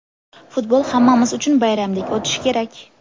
Futbol hammamiz uchun bayramdek o‘tishi kerak.